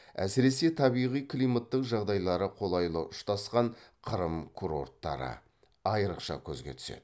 әсіресе табиғи климаттық жағдайлары қолайлы ұштасқан қырым курорттары айрықша көзге түседі